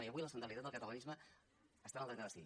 i avui la centralitat del catalanisme està en el dret a decidir